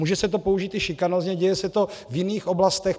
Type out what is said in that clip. Může se to použít i šikanózně, děje se to v jiných oblastech.